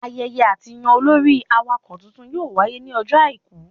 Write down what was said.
Ayẹyẹ àtiyàn olórí awakọ̀ titun yóò wáyé ní ọjọ́ àìkú